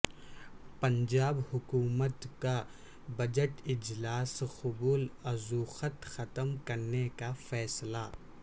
پنجاب حکومت کا بجٹ اجلاس قبل ازوقت ختم کرنے کا فیصلہ